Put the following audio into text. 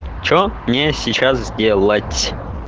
что мне сейчас сделать